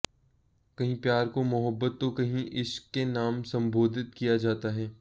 कहीं प्यार को मोहब्बत तो कहीं इश्क के नाम संबोधित किया जाता है